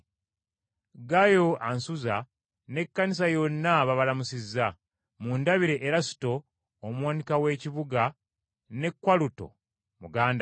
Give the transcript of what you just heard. Gaayo ansuza, n’ekkanisa yonna babalamusizza. Mundabire Erasuto omuwanika w’ekibuga, ne Kwaluto muganda we.